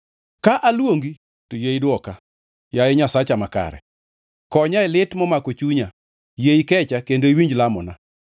Ka aluongi to yie idwoka, yaye Nyasacha makare. Konya e lit momako chunya; yie ikecha kendo iwinj lamona.